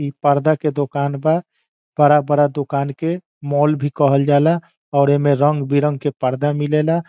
इ पर्दा के दुकान बा बड़ा-बड़ा दुकान के मॉल भी कहल जाला और इ मे रंग बिरंग के पर्दा मिलेला।